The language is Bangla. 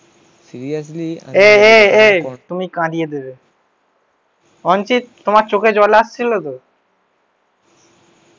এই এই এই তুমি কাঁদিয়ে দেবে অঞ্চিত তোমার চোখে জল আসছিল তো?